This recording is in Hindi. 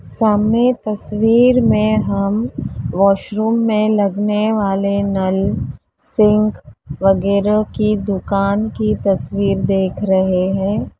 सामने तस्वीर में हम वॉशरूम में लगने वाले नल सिंक वगैरा की दुकान की तस्वीर देख रहे हैं।